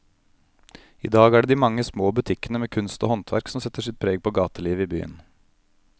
I dag er det de mange små butikkene med kunst og håndverk som setter sitt preg på gatelivet i byen.